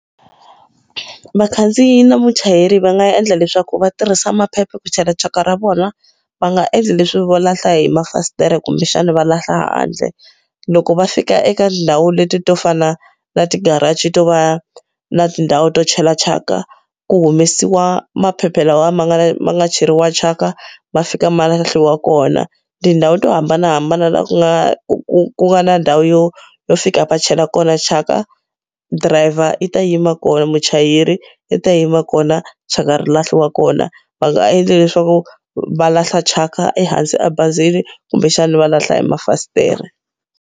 Vakhandziyi na muchayeri va nga endla leswaku va tirhisa maphepha ku chela thyaka ra vona, va nga endli leswi vo lahla hi mafasitere kumbexana va lahla handle. Loko va fika eka tindhawu leti to fana na ti-garage to va na tindhawu to chela thyaka, ku humesiwa maphepha lawa ma nga ma nga cheriwa thyaka, ma fika ma lahliwa kona. Tindhawu to hambanahambana laha ku nga ku ku nga na ndhawu yo yo fika va chela kona thyaka, driver yi ta yima kona muchayeri i ta yima kona thyaka ri lahliwa kona. Va nga endli leswaku va lahla thyaka ehansi abazini, kumbexana va lahla mafasitere.